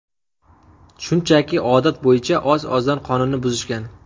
Shunchaki odat bo‘yicha oz-ozdan qonunni buzishgan.